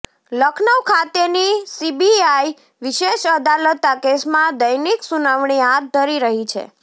લખનઉ ખાતેની સીબીઆઈ વિશેષ અદાલત આ કેસમાં દૈનિક સુનાવણી હાથ ધરી રહી છે